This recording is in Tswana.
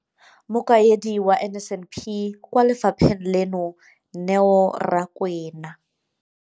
Mokaedi wa NSNP kwa lefapheng leno, Neo Rakwena.